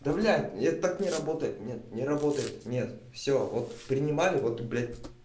да блять нет так не работает нет не работает нет всё вот принимали вот блять